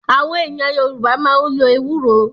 Àwọn èèyàn Yorùbá máa ń lo Ewúro